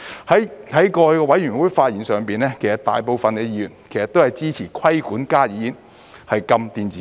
在過去的法案委員會上發言時，大部分議員都支持規管加熱煙而禁電子煙。